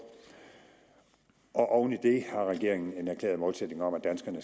og oven i det har regeringen en erklæret målsætning om